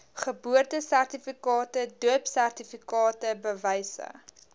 geboortesertifikate doopsertifikate bewyse